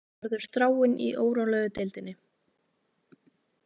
Verður Þráinn í órólegu deildinni